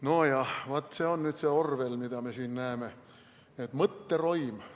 Nojah, vaat, see on nüüd see Orwell, mida me siin näeme, mõtteroim.